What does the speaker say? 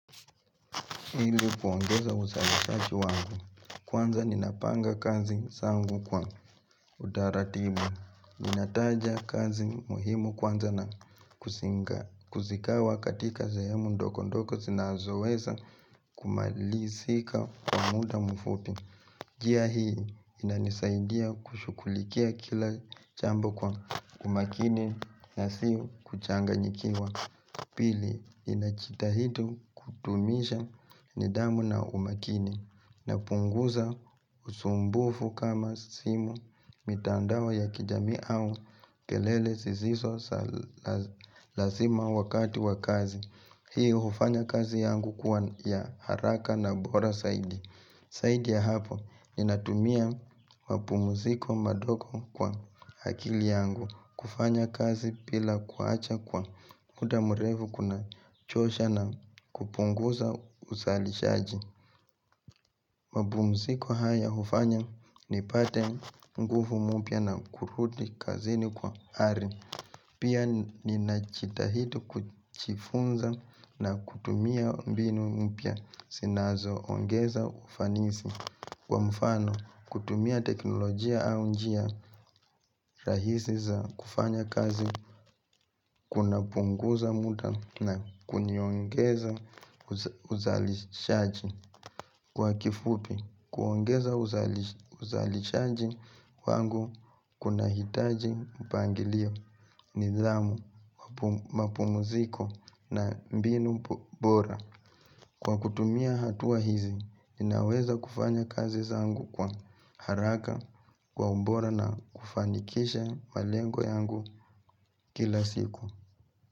Hili kuongeza uzalishaji wangu. Kwanza ninapanga kazi zangu kwa utaratibu. Ninataja kazi muhimu kwanza na kuzikawa katika sehemu ndogo ndogo zinazoweza kumalisika kwa muda mfupi. Jia hii inanisaidia kushukulikia kila jambo kwa umakini na siu kuchanga nyikiwa. Pili ninajitahidi kudumisha nidhamu na umakini na punguza usumbufu kama simu mitandao ya kijamii au kelele zisiso salazima wakati wakazi. Hii hufanya kazi yangu kuwa ya haraka na bora saidi saidi ya hapo ni natumia mapumziko madogo kwa akili yangu kufanya kazi pila kuacha kwa muda mrefu kuna chosha na kupunguza usali shaji mapumziko haya hufanya ni pate nguvu mupya na kurudi kazini kwa hari Pia ninajitahidi kujifunza na kutumia mbinu mpya sinazo ongeza ufanisi Kwa mfano, kutumia teknolojia au njia rahisi za kufanya kazi Kuna punguza muda na kuniongeza uzalishaji Kwa kifupi, kuongeza uzalishaji wangu kuna hitaji upangilio nidhamu, mapumziko na mbinu bora Kwa kutumia hatua hizi, ninaweza kufanya kazi zangu kwa haraka Kwa ubora na kufanikisha malengo yangu kila siku.